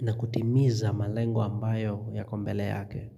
na kutimiza malengo ambayo yako mbele yake.